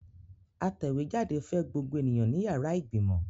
Atẹ̀wéjáde fẹ́ gbogbo ènìyàn ní yàrá ìgbìmọ̀.